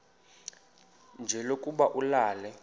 nje lokuba ulale